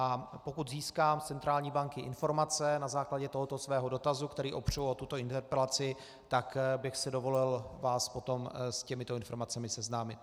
A pokud získám od centrální banky informace na základě tohoto svého dotazu, který opřu o tuto interpelaci, tak bych si dovolil vás potom s těmito informacemi seznámit.